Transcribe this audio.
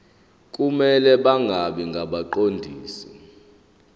kumele bangabi ngabaqondisi